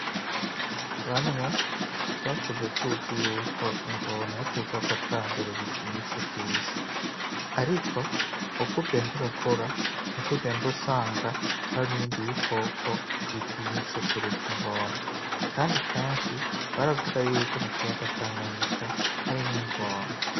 Bamwe twakuze tuzi yuko ingono ari co gikoko ca mbere gitinyitse kw'isi, ariko ukugenda urakura niko ugenda usanga hari n'ibindi bikoko bitinyitse kuruta ingono, kandi kenshi baravuga yuko mu kiyaga Tanganyika harimwo ingona.